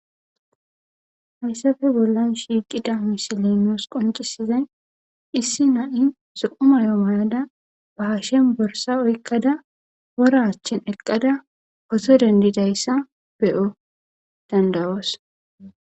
Haysape bollan shiqida misiley nus qoncisizay issi na'iya zo'o mayo mayada ba hashen borsa oyqada wora achan eqada photo dendidaysa bo'o dandayos